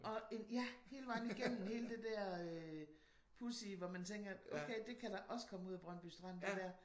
Og en ja hele vejen igennem hele det der øh pudsige hvor man tænker okay det kan der også komme ud af Brøndby Strand det der